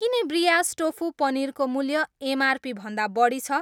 किन ब्रियास टोफु पनिरको मूल्य एमआरपी भन्दा बढी छ?